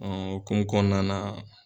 Ɔ o hukumu kɔnɔna na